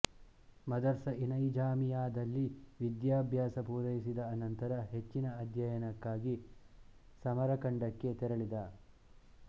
ಮದರ್ಸಇನೈಜಾಮಿಯಾದಲ್ಲಿ ವಿದ್ಯಾಭ್ಯಾಸ ಪೂರೈಸಿದ ಅನಂತರ ಹೆಚ್ಚಿನ ಅಧ್ಯಯನಕ್ಕಾಗಿ ಸಮರಖಂಡಕ್ಕೆ ತೆರಳಿದ